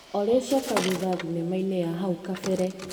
Olĩ coka thutha thinema-inĩ ya hau kabere .